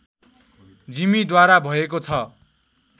जिमीद्वारा भएको छ